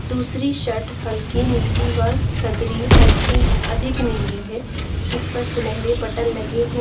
दूसरी शर्ट हल्की नीली व सदरी हल्की अधिक नीली है जिस पर सुनहरे बटन लगे हैं।